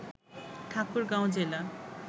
ঠাকুরগাঁও জেলা